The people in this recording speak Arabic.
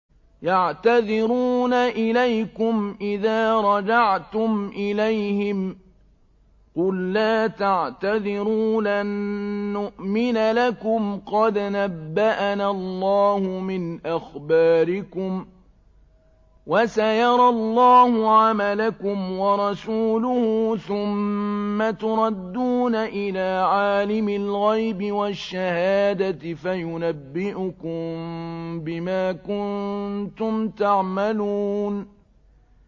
يَعْتَذِرُونَ إِلَيْكُمْ إِذَا رَجَعْتُمْ إِلَيْهِمْ ۚ قُل لَّا تَعْتَذِرُوا لَن نُّؤْمِنَ لَكُمْ قَدْ نَبَّأَنَا اللَّهُ مِنْ أَخْبَارِكُمْ ۚ وَسَيَرَى اللَّهُ عَمَلَكُمْ وَرَسُولُهُ ثُمَّ تُرَدُّونَ إِلَىٰ عَالِمِ الْغَيْبِ وَالشَّهَادَةِ فَيُنَبِّئُكُم بِمَا كُنتُمْ تَعْمَلُونَ